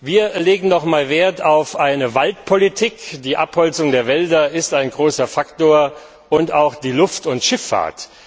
Wir legen noch einmal Wert auf eine Forstpolitik die Abholzung der Wälder ist ein großer Faktor und auch auf die Luft und Schifffahrt.